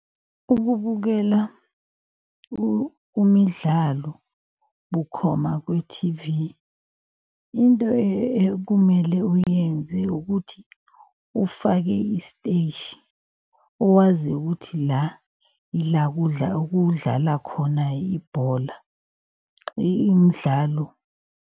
Ukubukela umidlalo bukhoma kwi-T_V. Into ekumele uyenze ukuthi ufake isteshi owaziyo ukuthi la, ila okudlala khona ibhola imdlalo.